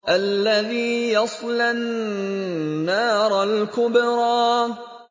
الَّذِي يَصْلَى النَّارَ الْكُبْرَىٰ